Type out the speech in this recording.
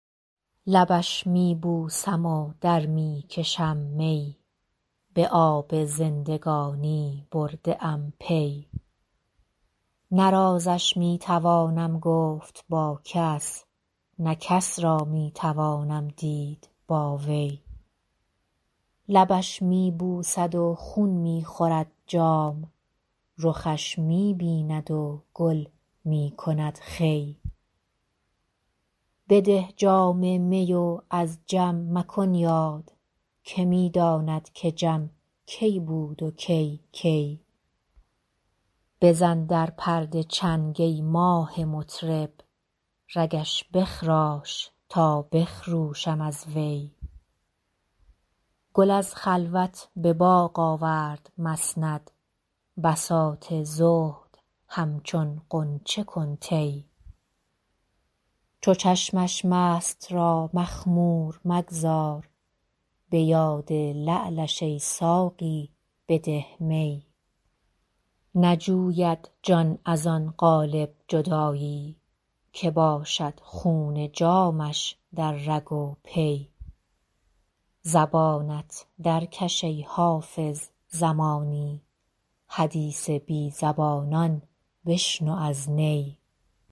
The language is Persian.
لبش می بوسم و در می کشم می به آب زندگانی برده ام پی نه رازش می توانم گفت با کس نه کس را می توانم دید با وی لبش می بوسد و خون می خورد جام رخش می بیند و گل می کند خوی بده جام می و از جم مکن یاد که می داند که جم کی بود و کی کی بزن در پرده چنگ ای ماه مطرب رگش بخراش تا بخروشم از وی گل از خلوت به باغ آورد مسند بساط زهد همچون غنچه کن طی چو چشمش مست را مخمور مگذار به یاد لعلش ای ساقی بده می نجوید جان از آن قالب جدایی که باشد خون جامش در رگ و پی زبانت درکش ای حافظ زمانی حدیث بی زبانان بشنو از نی